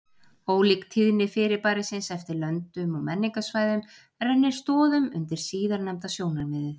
Ólík tíðni fyrirbærisins eftir löndum og menningarsvæðum rennir stoðum undir síðarnefnda sjónarmiðið.